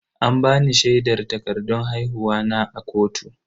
An bani shaidar takardan haihuwa na a kotu.